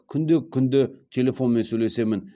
күнде күнде телефонмен сөйлесемін